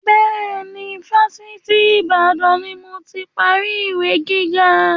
Bẹ́ẹ̀ni, Fásitì Ìbàdàn ni moti parí ìwé gíga.